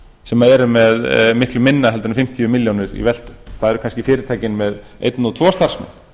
sem eru með miklu minna heldur en fimmtíu milljónir í veltu það eru kannski fyrirtækin með einn og tvo starfsmenn